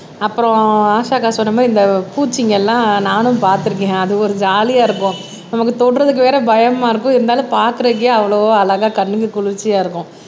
அப்புறம் ஆஷாக்கா சொன்ன மாதிரி இந்த பூச்சிங்க எல்லாம் நானும் பார்த்திருக்கேன் அது ஒரு ஜாலியா இருக்கும் நமக்கு தொடுறதுக்கு வேற பயமா இருக்கும் இருந்தாலும் பாக்குறதுக்கே அவ்வளோ அழகா கண்ணுக்கு குளிர்ச்சியா இருக்கும்